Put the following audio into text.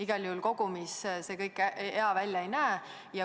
Igal juhul kogumis see kõik hea välja ei näe.